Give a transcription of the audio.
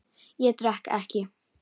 Ég drekk ekki.